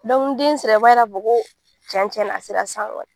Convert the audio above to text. Dɔnku ni den sera o b'a yira k'a fɔ cɛn ni cɛn na a sera sisan.